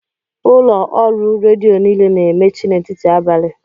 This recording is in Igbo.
Ụlọ ọrụ redio niile na-emechi n'etiti abalị